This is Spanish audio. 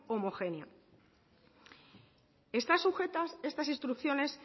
homogénea están sujetas estas instrucciones